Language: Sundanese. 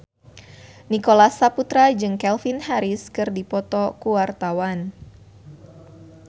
Nicholas Saputra jeung Calvin Harris keur dipoto ku wartawan